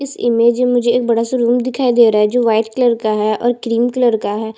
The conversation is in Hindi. इस इमेज में मुझे एक बड़ा सा रूम दिखाई दे रहा है जो व्हाइट कलर का है और क्रीम कलर का है।